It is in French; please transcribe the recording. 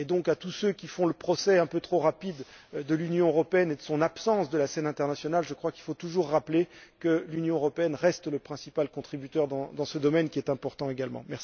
À tous ceux qui font le procès un peu trop rapide de l'Union européenne et de son absence de la scène internationale, je crois qu'il faut toujours rappeler qu'elle reste le principal contributeur dans ce domaine, qui est important également.